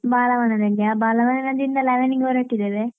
ಬಾಲವನದಲ್ಲಿಯಾ? ಬಾಲವನದಲ್ಲಿ ಇಲ್ಲಿಂದ eleven ಇಗೆ ಹೊರಟಿದೆವೆ